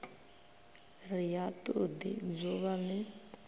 ri ha todi dzuvha li